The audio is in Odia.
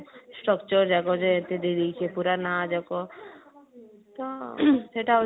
structure ଯାକ ଯେ ଏତେ ଦେଇ ଦେଇଛି ପୁରା ନାଁ ଯାକ ତ ସେଇଟା ହଉଛି